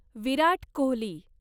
Virat Kohli